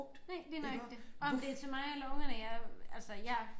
Nej lige nøjagtig om det til mig eller ungerne jeg altså jeg